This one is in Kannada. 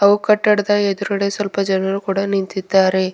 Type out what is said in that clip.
ಓ ಕಟ್ಟಡದ ಎದುರುಗಡೆ ಸ್ವಲ್ಪ ಜನರು ಕೂಡ ನಿಂತಿದ್ದಾರೆ.